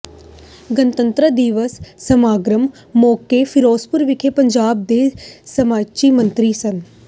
ਗਣਤੰਤਰ ਦਿਵਸ ਸਮਾਗਮ ਮੌਕੇ ਫਿਰੋਜ਼ਪੁਰ ਵਿਖੇ ਪੰਜਾਬ ਦੇ ਸਿੰਚਾਈ ਮੰਤਰੀ ਸ